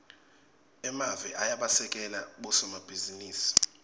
emave ayabasekela bosomabhizinisi